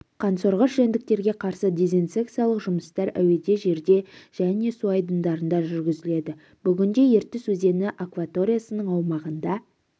қансорғыш жәндіктерге қарсы дезинсекциялық жұмыстар әуеде жерде және су айдындарында жүргізіледі бүгінде ертіс өзені акваториясының аумағында